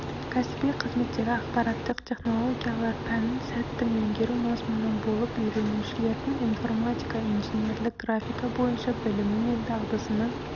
кәсіби қызметтегі ақпараттық технологиялар пәнін сәтті меңгеру мазмұны болып үйренушілердің информатика инженерлік графика бойынша білімі мен дағдысының